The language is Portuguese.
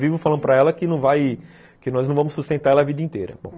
Vivo falando para ela que não vai, que nós não vamos sustentar ela a vida inteira.